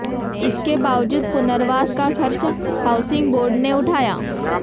इसके बावजूद पुनर्वास का खर्च हाउसिंग बोर्ड ने उठाया